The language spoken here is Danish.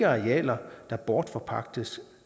arealer der bortforpagtes